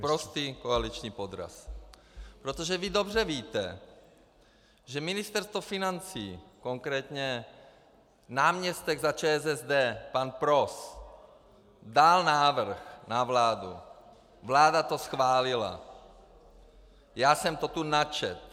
Sprostý koaliční podraz, protože vy dobře víte, že Ministerstvo financí, konkrétně náměstek za ČSSD pan Pros dal návrh na vládu, vláda to schválila, já jsem to tu načetl.